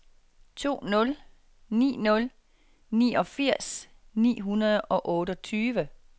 to nul ni nul niogfirs ni hundrede og otteogtyve